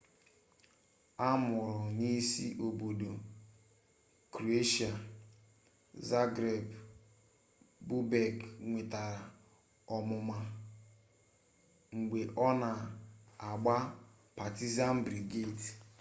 a mụrụ n'isi obodo kroeshịa zagreb bobek nwetara ọmụma mgbe ọ na-agbara partizan belgradi